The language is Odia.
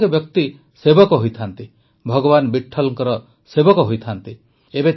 ପ୍ରତ୍ୟେକ ବ୍ୟକ୍ତି ସେବକ ହୋଇଥାଏ ଭଗବାନ ବିଠ୍ଠଲଙ୍କ ସେବକ ହୋଇଥାଏ